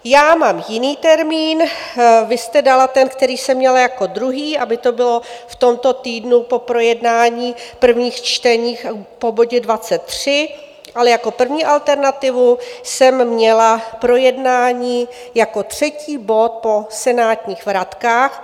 Já mám jiný termín, vy jste dala ten, který jsem měla jako druhý, aby to bylo v tomto týdnu po projednání prvních čtení po bodě 23, ale jako první alternativu jsem měla projednání jako třetí bod po senátních vratkách.